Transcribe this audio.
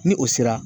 Ni o sera